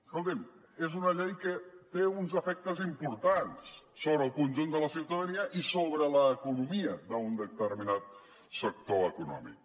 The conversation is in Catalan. escoltin és una llei que té uns efectes importants sobre el conjunt de la ciutadania i sobre l’economia d’un determinat sector econòmic